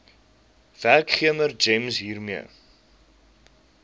werkgewer gems hiermee